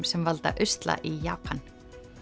sem valda usla í Japan